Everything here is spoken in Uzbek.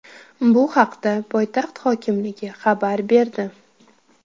Bu haqda poytaxt hokimligi xabar berdi .